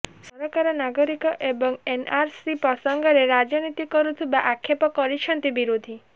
ସରକାର ନାଗରିକ ଏବଂ ଏନଆରସି ପ୍ରସଙ୍ଗରେ ରାଜନୀତି କରୁଥିବା ଆକ୍ଷେପ କରିଛନ୍ତି ବିରୋଧି